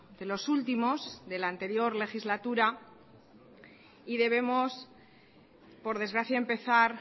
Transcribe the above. de los últimos de la anterior legislatura y debemos por desgracia empezar